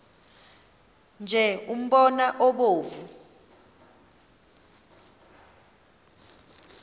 nje umbona obomvu